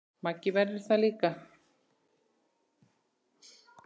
Maggi verður það líka.